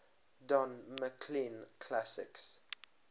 don mclean classics